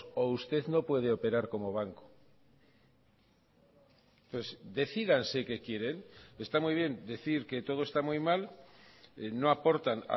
o usted no puede operar como banco decídanse qué quieren está muy bien decir que todo está muy mal no aportan